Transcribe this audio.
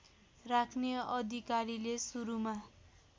राख्ने अधिकारीले सुरुमा